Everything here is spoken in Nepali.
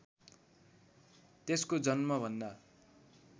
त्यसको जन्मभन्दा